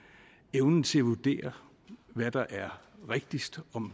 evnen til at vurdere hvad der er rigtigst og om